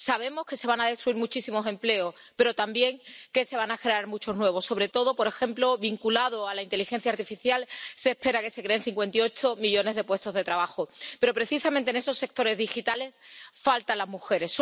Sabemos que se van a destruir muchísimos empleos, pero también que se van a generar muchos nuevos, sobre todo, por ejemplo, vinculados a la inteligencia artificial, para la que se espera que se creen 58 millones de puestos de trabajo. Pero precisamente en esos sectores digitales faltan las mujeres.